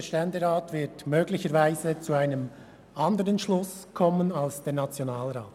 Der Ständerat wird möglicherweise zu einem anderen Schluss kommen als der Nationalrat.